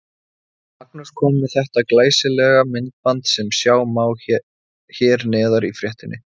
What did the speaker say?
Magnús kom með þetta glæsilega myndband sem sjá má hér neðar í fréttinni.